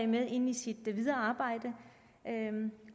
med ind i sit videre arbejde